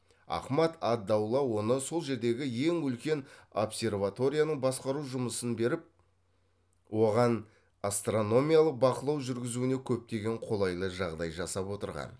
ахмад ад даула оны сол жердегі ең үлкен обсерваторияның басқару жұмысын беріп оған астрономиялық бақылау жүргізуіне көптеген қолайлы жағдай жасап отырған